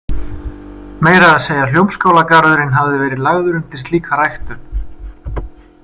Meira að segja Hljómskálagarðurinn hafði verið lagður undir slíka ræktun.